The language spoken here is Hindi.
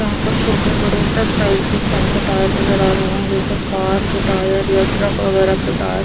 यहा पर छोटे बड़े सब साइज़ के टंको टायर नज़र आ रहे हैं जैसे कार के टायर या ट्रक वग़ैरा के टायर ।